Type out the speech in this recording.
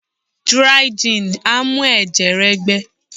Díríí jin a mu ẹ̀jẹ̀ rẹ gbẹ.